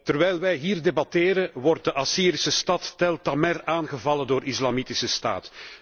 Terwijl wij hier debatteren wordt de Assyrische stad Tell Tamer aangevallen door Islamitische Staat.